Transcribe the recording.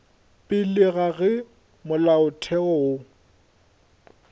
pele ga ge molaotheo wo